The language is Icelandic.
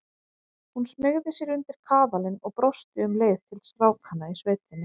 Hún smeygði sér undir kaðalinn og brosti um leið til strákanna í sveitinni.